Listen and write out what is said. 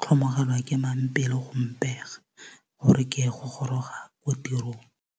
tlhomogelwa ke mang pelo go mpega gore ke ye go goroga ko tirong.